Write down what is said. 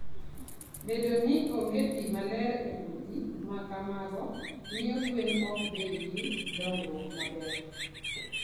Bedo ni onge pi maler e udi ma kamago, miyo gwen ok bed gi dongruok maber.